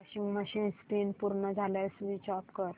washing machine spin पूर्ण झाल्यावर switch off कर